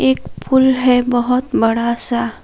एक पुल है बहुत बड़ा सा।